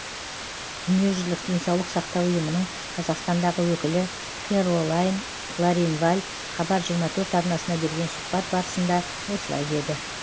дүниежүзілік денсаулық сақтау ұйымының қазақстандағы өкілі кэролайн кларинваль хабар жиырма төрт арнасына берген сұхбат барысында осылай деді